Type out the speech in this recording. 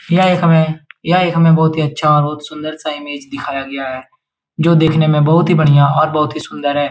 यह एक हमे यह एक हमे बहुत ही अच्छा और सुन्दर सा इमेज दिखाया गया है जो देखने में बहुत ही बढ़िया और बहुत ही सुन्दर है।